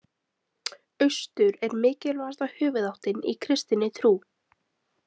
Austur er mikilvægasta höfuðáttin í kristinni trú.